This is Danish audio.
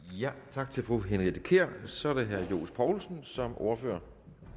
tak til fru henriette kjær så er det herre johs poulsen som ordfører